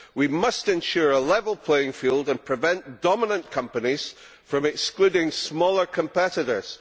We must ensure a level playing field and prevent dominant companies from excluding smaller competitors.